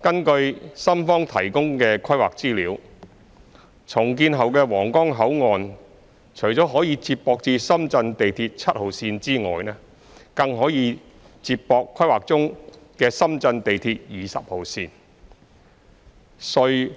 根據深方提供的規劃資料，重建後的皇崗口岸除可接駁至深圳地鐵7號線外，更可接駁規劃中的深圳地鐵20號線、穗